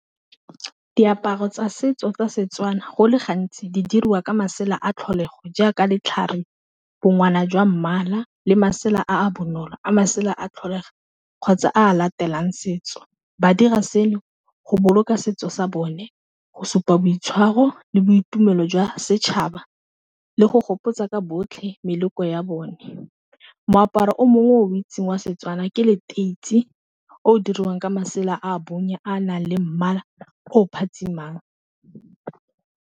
Diaparo tsa setso tsa setswana go le gantsi di dirwa ka masela a tlholego jaaka letlhare bo ngwana jwa mmala le masela a bonolo a masela a tlholega kgotsa a latelang setso, ba dira seno go boloka setso sa bone go supa boitshwaro le boitumelo jwa setšhaba, le go gopotsa ka botlhe meloko ya bone, moaparo o mongwe o itseng wa Setswana ke leteisi o diriwang ka masela a bonye a nang le mmala o phatsima.